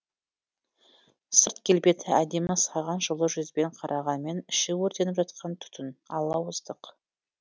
сырт келбеті әдемі саған жылы жүзбен қарағанмен іші өртеніп жатқан түтін алауыздық